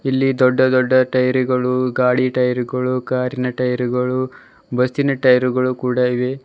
ಇಲ್ಲಿ ದೊಡ್ಡ ದೊಡ್ಡ ಟೈರ್ ಗಳು ಗಾಡಿ ಟೈರ್ ಗಳು ಕಾರಿನ ಟೈರ್ ಗಳು ಬಸ್ಸಿನ ಟೈರ್ ಗಳು ಕೂಡ ಇವೆ.